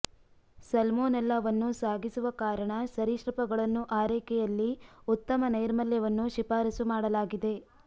ಸಲ್ಮೊನೆಲ್ಲಾವನ್ನು ಸಾಗಿಸುವ ಕಾರಣ ಸರೀಸೃಪಗಳನ್ನು ಆರೈಕೆಯಲ್ಲಿ ಉತ್ತಮ ನೈರ್ಮಲ್ಯವನ್ನು ಶಿಫಾರಸು ಮಾಡಲಾಗಿದೆ